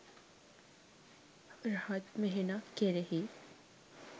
රහත් මෙහෙණක් කෙරෙහි